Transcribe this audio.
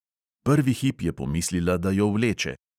Prvi hip je pomislila, da jo vleče.